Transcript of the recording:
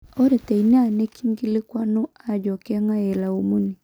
Ore teina nikingilikwanu ajo kengae ilaumuni?